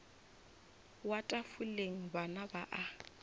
wa tafoleng bana ba a